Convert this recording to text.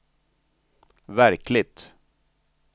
verkligt